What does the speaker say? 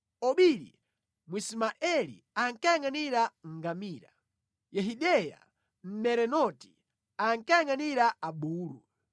Obili Mwismaeli ankayangʼanira ngamira. Yehideya Mmerenoti ankayangʼanira abulu.